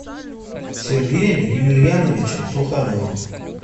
сергеем емельяновичем сухановым